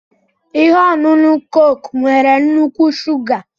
Ihe ọṅụṅụ Coke nwere nnukwu shuga